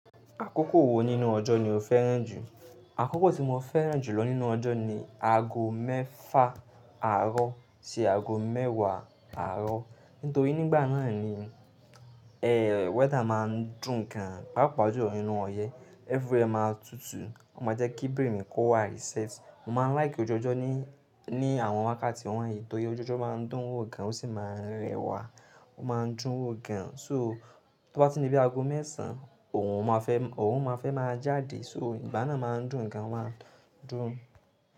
Akókò wo nínú ọjọ́ ni o fẹ́ràn jù? Akókò tí mo fẹ́ràn jù lọ nínú ọjọ́ ni ago mẹ́fà àárọ̀ sí ago mẹ́wàá àárọ̀. Nítorí nígbà náà ni, weather máa ń dùn gan pàápàá jù lọ̀ ni inú ọyẹ́. Every where máa tutù, ó máa jẹ́ kí brain kó wá reset. Mo máa ń like ojoojó ní, ní àwọn wákàtí wọ̀nyí torí oju ojó máa ń dùn wo gan, ó sì máa ń rẹwà, ó máa ń dùn ún gan. So, tó bá tin dí bi ago mẹ́sàn, oòrùn oòrùn máa fẹ́ máa jáde. So, ìgbà náà máa ń dùn gan, ó máa ń dùn ún.